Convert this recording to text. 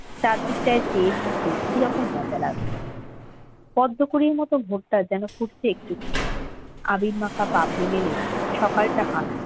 চারদিক টাই চেয়ে থাকতে কি রকম মজা লাগছে পদ্ম কুঁড়ির মতো ভোটটা যেন ফুটছে একটু একটু করে আবির মাখা পা ভিজিয়ে সকালটা যেন